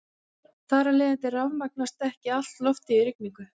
Þar af leiðandi rafmagnast ekki allt loftið í rigningu.